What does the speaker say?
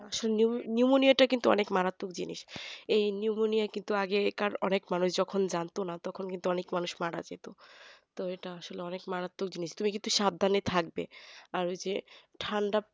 pneummonnia টা কিন্তু অনেক মারাত্মক জিনিস এই pneumonia কিন্তু আগেকার অনেক মানুষ যখন জানতো না তখন কিন্তু অনেক মানুষ মারা যেত তো এটা আসলে অনেক মারাত্মক জিনিস তুমি কিন্তু সাবধানে থাকবে আর যে ঠান্ডা